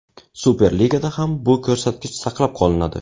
Super Ligada ham bu ko‘rsatkich saqlab qolinadi.